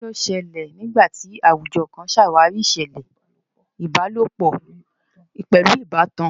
Kí ló ṣẹlẹ̀ nígbà tí àwùjọ kan ṣàwárí ìṣẹ̀lẹ̀ ìbálòpọ̀ pẹ̀lú ìbátan?